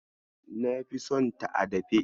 Na fi sonta a dafe.